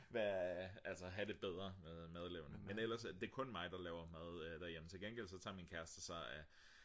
have det bedre med madlavning men ellers det er kun mig der laver mad derhjemme til gengæld tager min kæreste sig af